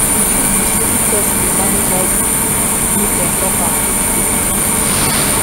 the truth be say if persin dey manage high bp make dem talk am qik qik